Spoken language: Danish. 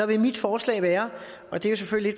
vil mit forslag være og det er selvfølgelig